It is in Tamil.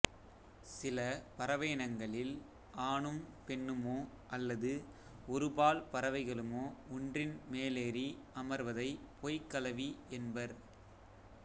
சில பறவையினங்களில் ஆணும் பெண்ணுமோ அல்லது ஒருபால் பறவைகளுமோ ஒன்றின்மேலேறி அமர்வதை பொய்க்கலவி என்பர்